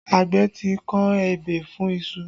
Àgbẹ̀ ti kọ ebè fún iṣu